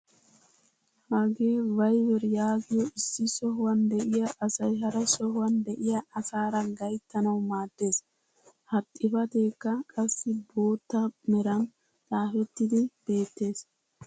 Hagee "Viber" yaagiyoo issi sohuwaan de'iyaa asay hara sohuwaan de'iyaa asaara gayttanawu maaddees. ha xifateekka qassi bootta meran xaafettidi beettees.